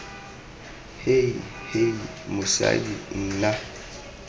hei hei hei mosadi nna